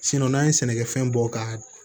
n'an ye sɛnɛkɛfɛn bɔ ka